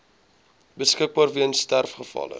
beskikbaar weens sterfgevalle